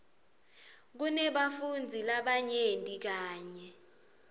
kunebafundzi labanyenti kanye